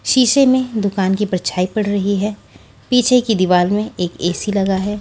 शीशे में दुकान की परछाई पड़ रही है पीछे की दीवार में एक ए_सी लगा है।